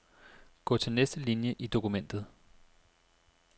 Gå til næste linie i dokumentet.